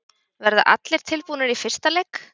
Verða allir tilbúnir í fyrsta leik?